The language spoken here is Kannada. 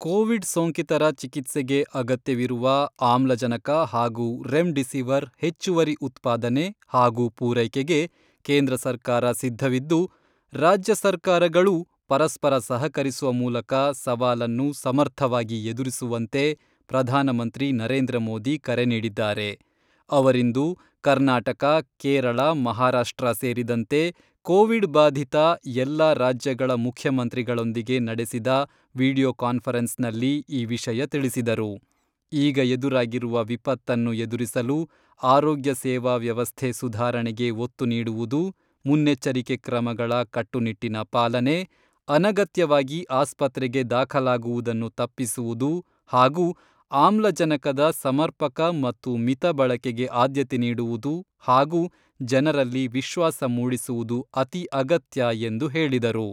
ಕೋವಿಡ್ ಸೋಂಕಿತರ ಚಿಕಿತ್ಸೆಗೆ ಅಗತ್ಯವಿರುವ ಆಮ್ಲಜನಕ ಹಾಗೂ ರೆಮ್ ಡಿಸಿವರ್ ಹೆಚ್ಚುವರಿ ಉತ್ಪಾದನೆ ಹಾಗೂ ಪೂರೈಕೆಗೆ ಕೇಂದ್ರ ಸರ್ಕಾರ ಸಿದ್ಧವಿದ್ದು, ರಾಜ್ಯ ಸರ್ಕಾರಗಳೂ ಪರಸ್ಪರ ಸಹಕರಿಸುವ ಮೂಲಕ ಸವಾಲನ್ನು ಸಮರ್ಥವಾಗಿ ಎದುರಿಸುವಂತೆ ಪ್ರಧಾನಮಂತ್ರಿ ನರೇಂದ್ರ ಮೋದಿ ಕರೆ ನೀಡಿದ್ದಾರೆ.ಅವರಿಂದು ಕರ್ನಾಟಕ, ಕೇರಳ, ಮಹಾರಾಷ್ಟ್ರ ಸೇರಿದಂತೆ ಕೋವಿಡ್ಬಾಧಿತ ಎಲ್ಲ ರಾಜ್ಯಗಳ ಮುಖ್ಯಮಂತ್ರಿಗಳೊಂದಿಗೆ ನಡೆಸಿದ ವಿಡಿಯೋ ಕಾನ್ಫರೆನ್ಸ್ನಲ್ಲಿ ಈ ವಿಷಯ ತಿಳಿಸಿದರು.ಈಗ ಎದುರಾಗಿರುವ ವಿಪತ್ತನ್ನು ಎದುರಿಸಲು ಆರೋಗ್ಯ ಸೇವಾ ವ್ಯವಸ್ಥೆ ಸುಧಾರಣೆಗೆ ಒತ್ತು ನೀಡುವುದು, ಮುನ್ನೆಚ್ಚರಿಕೆ ಕ್ರಮಗಳ ಕಟ್ಟುನಿಟ್ಟಿನ ಪಾಲನೆ, ಅನಗತ್ಯವಾಗಿ ಆಸ್ಪತ್ರೆಗೆ ದಾಖಲಾಗುವುದನ್ನು ತಪ್ಪಿಸುವುದು ಹಾಗೂ ಆಮ್ಲಜನಕದ ಸಮರ್ಪಕ ಮತ್ತು ಮಿತಬಳಕೆಗೆ ಆದ್ಯತೆ ನೀಡುವುದು ಹಾಗೂ ಜನರಲ್ಲಿ ವಿಶ್ವಾಸ ಮೂಡಿಸುವುದು ಅತಿ ಅಗತ್ಯ ಎಂದು ಹೇಳಿದರು.